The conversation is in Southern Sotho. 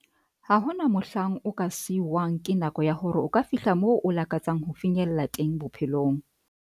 "Ha hona mohlang o ka siuwang ke nako ya hore o ka fihla moo o lakatsang ho finyella teng bophelong."